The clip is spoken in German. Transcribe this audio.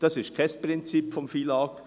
Dies ist kein Prinzip des FILAG.